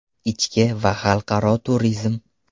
Ichki va xalqaro turizm.